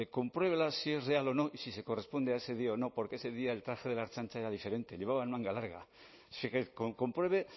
compruébela si es real o no y si se corresponde a ese día o no porque ese día el traje de la ertzaintza era diferente llevaban manga larga o sea que compruebe